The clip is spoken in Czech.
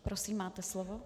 Prosím, máte slovo.